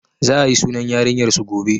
Za a yi sunan yarinyar su gobe